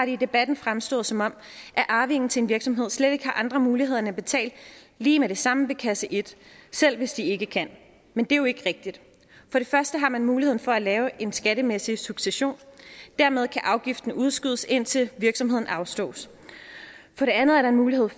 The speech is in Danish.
i debatten fremstået som om arvingen til en virksomhed slet ikke har andre muligheder end at betale lige med det samme ved kasse en selv hvis ikke de kan men det er jo ikke rigtigt for det første har man muligheden for at lave en skattemæssig succession og dermed kan afgiften udskydes indtil virksomheden afstås for det andet er der mulighed